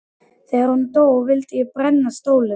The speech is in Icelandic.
Þegar hún dó vildi ég brenna stólinn.